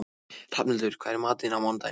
Hrafnhildur, hvað er í matinn á mánudaginn?